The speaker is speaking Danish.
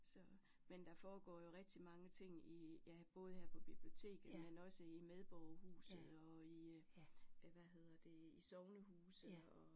Så men der foregår jo rigtig mange ting i ja både her på biblioteket men også i medborgerhuset og i øh hvad hedder det i sognehuse og